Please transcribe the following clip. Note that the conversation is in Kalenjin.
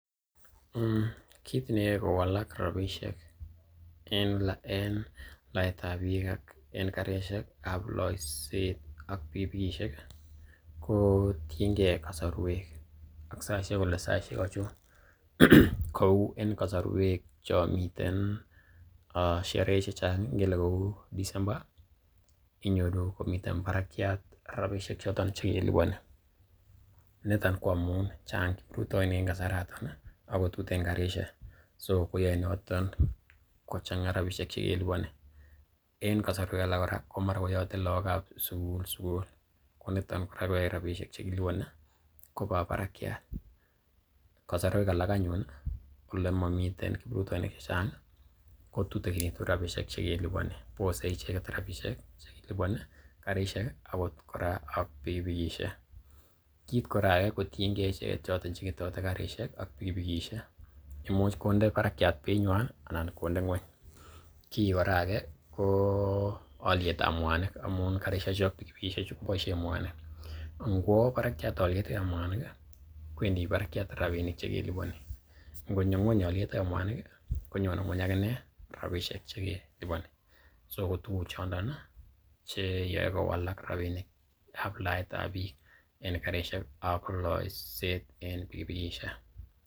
Kiit neyoe kowalak rabishek en laaet ab biik aken karisiek ab loiset ak pikipikiishek, ko tienge kasorwek ak saichek kole saishek achon, kou en kasarwek chon miten sherehe che chang, ngele kou December inyoru komiten barakyat rabishek choton che keliponi niton ko amun chang kiprutoinik en kasaraton ago tuten karishek. so koyoe noton kochang rabishek che keliponi en kasarwek alak kora ko mara koyote lagokab sugul sugul, ko nito kora koyae rabishek che kiliponi koba barakyat. Kasarwek alak anyunole momitenkiprutoinik che chang, ko tutekinitu rabishek che keliponi bose icheget rabishek chekilopin karisiek, agot kora pikipikishek. Kiit kora age kotienge icheget che ketote karishek ak pikipikisiek, imuch konde barakyat beinywan anan konde ng'weny. Ki kora age ko olyet ab mwanik, amun karisheju ak pikipikisiek chu koboisien mwanik. Nkwo barakiat olyet ab mwanik kwendi barakiat rabinik che keliponi, ngonyo ng'weny olyet ab mwanik, konyone ng'weny ak inee rabishek che keliponi, so ko tuguchondon che yoe kowalak rabinik ab laetab biik en karisiek ak looiset en pikipikiisiek.